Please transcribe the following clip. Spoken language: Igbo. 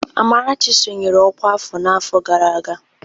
Amarachi sonyere ọkwá afọ n'afọ gara aga?